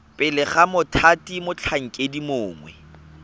pele ga mothati motlhankedi mongwe